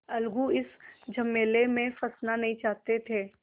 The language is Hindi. अलगू इस झमेले में फँसना नहीं चाहते थे